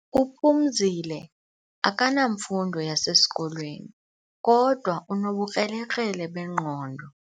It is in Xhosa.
UPhumzile akanamfundo yasesikolweni kodwa unobukrelekrele bengqondo.